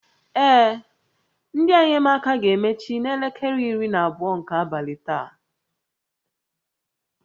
Ee, ndị enyemaka ga-emechi n'elekere iri na abụọ nke abalị taa